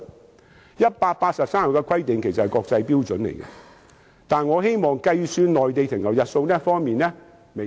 其實183天的規定是國際標準，但是，我希望在計算內地停留日數方面微調一下。